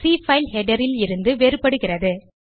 C file headerலிருந்து வேறுபடுகிறது